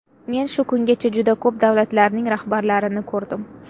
Men shu kungacha juda ko‘p davlatlarning rahbarlarini ko‘rdim.